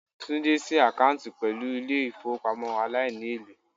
Tunde si akanti pelu ile ifowopamo alaini-ele